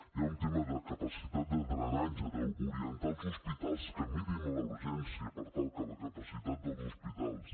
hi ha un tema de capacitat de drenatge d’orientar els hospitals que mirin la urgència per tal que la capacitat dels hospitals